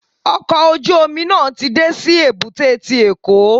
Ọkọ̀ ojú omi náà ti dé sí èbúté ti Èkó.